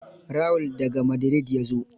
Raul, da ga Madrid ya zo.